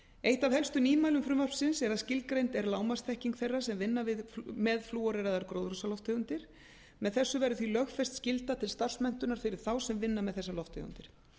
eitt af helstu nýmælum frumvarpsins er að skilgreind er lágmarksþekking þeirra sem vinna með flúoreraðar gróðurhúsalofttegundar með þessu verður því lögfest skylda til starfsmenntunar fyrir þá sem vinna með þessar lofttegundir